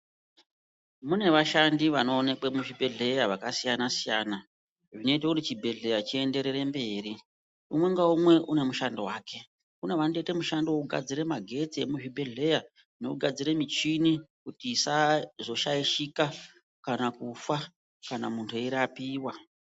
Mune vashandi vanoonekwe muzvibhehleya vakasiyana siyana zvinoita kuti chibhehlera chienderere mberi. Umwe naumwe une mushando wake. Kune vanotoite mushando wekugadzire magetsi emuzvibhehleya nekugadzire michini kuti isazoshaishika kana kufa kana muntu eirapiwa.